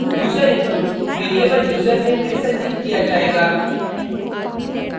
user input variable username में संचित किया जायेगा